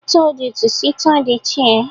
I told you to sit on the chair!